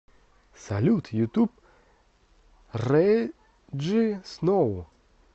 салют ютуб реджи сноу